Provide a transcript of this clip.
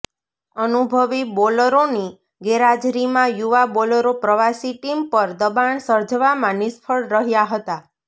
અનુભવી બોલરોની ગેરહાજરીમાં યુવા બોલરો પ્રવાસી ટીમ પર દબાણ સર્જવામાં નિષ્ફળ રહ્યા હતા